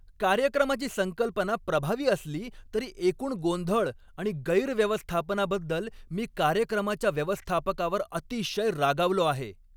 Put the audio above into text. कार्यक्रमाची संकल्पना प्रभावी असली तरी एकूण गोंधळ आणि गैरव्यवस्थापनाबद्दल मी कार्यक्रमाच्या व्यवस्थापकावर अतिशय रागावलो आहे.